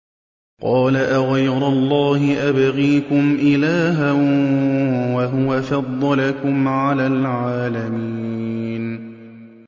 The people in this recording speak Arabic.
قَالَ أَغَيْرَ اللَّهِ أَبْغِيكُمْ إِلَٰهًا وَهُوَ فَضَّلَكُمْ عَلَى الْعَالَمِينَ